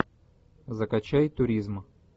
закачай туризм